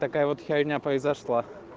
такая вот херня произошла